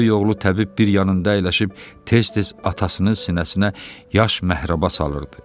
Böyük oğlu təbib bir yanında əyləşib tez-tez atasının sinəsinə yaş məhrəba salırdı.